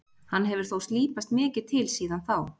Hann hefur þó slípast mikið til síðan þá.